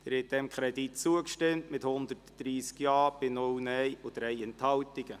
Sie haben diesem Kredit zugestimmt mit 130 Ja- bei 0- Nein-Stimmen und 3 Enthaltungen.